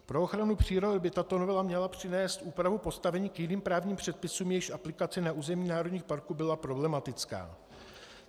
Pro ochranu přírody by tato novela měla přinést úpravu postavení k jiným právním předpisům, jejichž aplikace na území národních parků byla problematická.